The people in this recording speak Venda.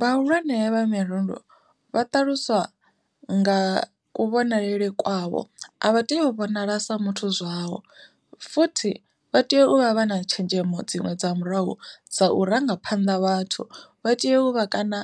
Vhahulwane vha mirundu vha ṱaluswa nga kuvhonalele kwavho a vha tei u vhonala sa muthu zwavho, futhi vha tea u vha vha na tshenzhemo dziṅwe dza murahu dza u rangaphanḓa vhathu vha tea u vha kana